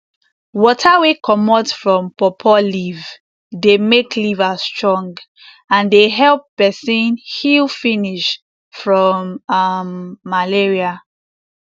water wey comot from pawpaw leaf dey make liver strong and dey help peson heal finish from um malaria